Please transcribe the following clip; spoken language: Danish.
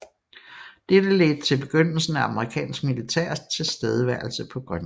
Dette ledte til begyndelsen af amerikansk militær tilstedeværelse på Grønland